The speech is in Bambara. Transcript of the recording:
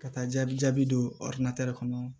Ka taa jaabi jaabi don kɔnɔ